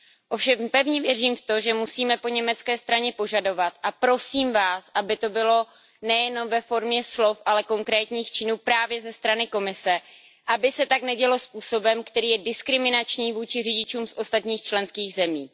Ovšem pevně věřím v to, že musíme po německé straně požadovat a prosím vás, aby to bylo nejenom ve formě slov, ale konkrétních činů právě ze strany Komise aby se tak nedělo způsobem, který je diskriminační vůči řidičům z ostatních členských zemí.